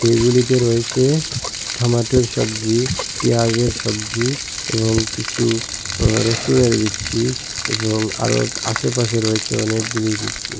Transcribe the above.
এগুলিতে রয়েছে ঠমেটোর সব্জি পিঁয়াজের সব্জি এবং কিসু আঃ রসুনের বিচি এবং আরও আশেপাশে রয়েছে অনেকগুলি বিচি।